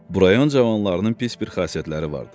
Bu rayon cavanlarının pis bir xasiyyətləri vardı.